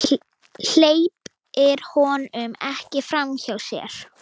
Hleypir honum ekki framhjá sér.